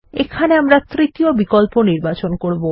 এখানে আমরা তৃতীয় বিকল্প নির্বাচন করবো